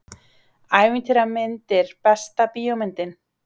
Ævintýramyndir Besta bíómyndin?